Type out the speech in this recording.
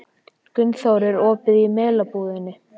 Guðþór, er opið í Melabúðinni?